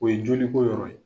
O ye joli ko yɔrɔ ye.